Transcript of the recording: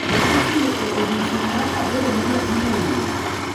ne itimo e odiechieng’ mar aboro ne nyathi ma wuoyi,